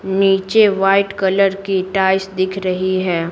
नीचे white colour की टाइस दिख रही है।